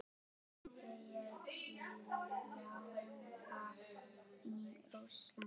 Myndi ég þjálfa í Rússlandi?